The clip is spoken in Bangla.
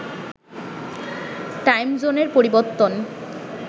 টাইম জোনের পরিবর্তন